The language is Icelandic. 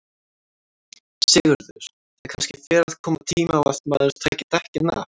Sigurður: Það kannski fer að koma tími á að maður taki dekkin af?